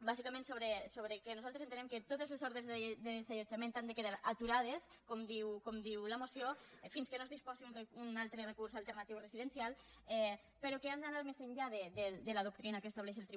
bàsicament sobre que nosaltres entenem que totes les ordres de desallotjament han de quedar aturades com diu la moció fins que no es disposi d’un altre recurs alternatiu residencial però que hem d’anar més enllà de la doctrina que estableix el